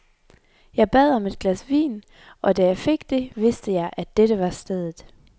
Jeg bad om et glas vin, og da jeg fik det, vidste jeg, at dette var stedet.